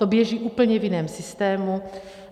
To běží v úplně jiném systému.